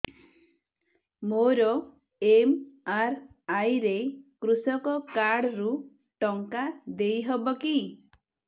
ମୋର ଏମ.ଆର.ଆଇ ରେ କୃଷକ କାର୍ଡ ରୁ ଟଙ୍କା ଦେଇ ହବ କି